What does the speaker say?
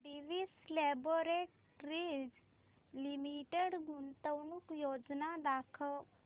Divi's laboratories limited गुंतवणूक योजना दाखव